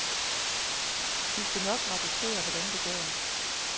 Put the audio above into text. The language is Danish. Vi skal nok rapportere, hvordan det går.